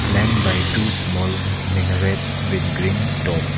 Flying by two small minarets with green top.